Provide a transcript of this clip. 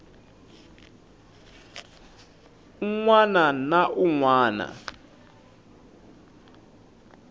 un wana na un wana